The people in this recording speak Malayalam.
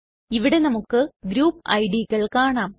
ഇവിടെ നമുക്ക് ഗ്രൂപ്പ് idകൾ കാണാം